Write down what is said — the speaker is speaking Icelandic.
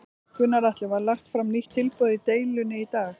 Gunnar Atli: Var lagt fram nýtt tilboð í deilunni í dag?